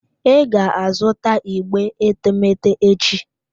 I ga-azụta igbe etemeete echi?